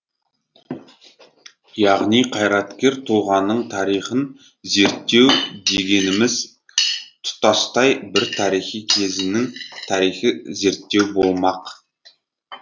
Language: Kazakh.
яғни қайраткер тұлғаның тарихын зерттеу дегеніміз тұтастай бір тарихи кезеңнің тарихын зерттеу болмақ